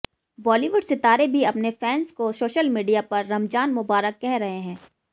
बॉलीवुड सितारे भी अपने फैन्स को सोशल मीडिया पर रमज़ान मुबारक कह रहे हैं